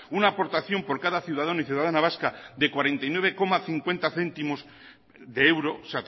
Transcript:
una aportación por cada ciudadano y ciudadana vasca de cuarenta y nueve coma cincuenta céntimos de euro